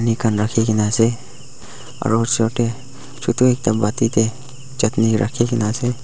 rakhina ase aru osor teh chutu ekta pati teh chutney rakhikena ase.